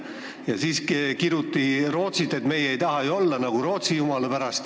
Ja siis kiruti Rootsit – et jumala pärast, meie ei taha ju olla nagu Rootsi.